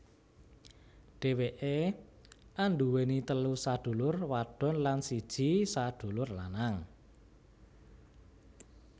Dheweké anduweni telu sadulur wadon lan siji sadulur lanang